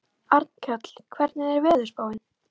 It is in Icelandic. Arnkell, hvernig er veðurspáin?